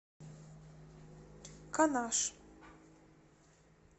канаш